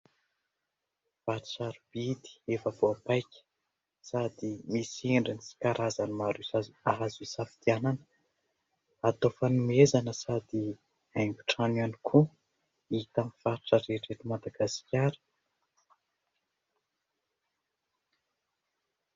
Vato sarobidy efa voapaika sady misy endriny sy karazany maro azo hisafidianana. Atao fanomezana sady haingon-trano ihany koa, hita amin'ny faritra rehetra eto Madagasikara.